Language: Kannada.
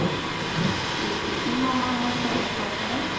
ಹ್ಮ್ ನಿಮ್ಮ ಅಮ್ಮನ ಮನೆ ಕಡೆ ಹೇಗ್ ಮಾಡ್ತಾರೆ?